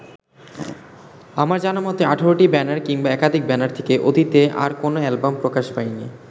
আমার জানামতে ১৮টি ব্যানার কিংবা একাধিক ব্যানার থেকে অতীতে আর কোনো অ্যালবাম প্রকাশ পায়নি।